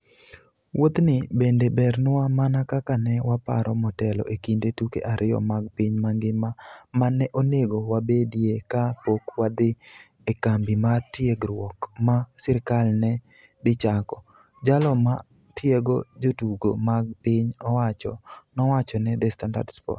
"Wuothni bende bernwa mana kaka ne waparo motelo e kind tuke ariyo mag piny mangima ma ne onego wabedie ka pok wadhi e kambi mar tiegruok ma sirkal ne dhi chako, " jalo ma tiego jotugo mag piny owacho nowacho ne The Standard Sports.